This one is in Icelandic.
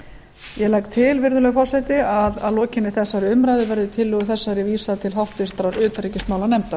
ég legg til virðulegi forseti að að lokinni þessari umræðu verði tillögu þessari vísað til háttvirtrar utanríkismálanefndar